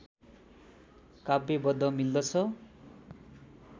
काव्यबद्ध मिल्दछ